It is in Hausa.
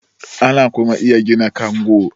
ana kuma iya gina kango